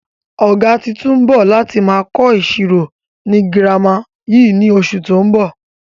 Ọ̀gá tuntun ń bọ̀ láti máa kọ ìṣirò ni girama yìí ni oṣù tó ń bọ̀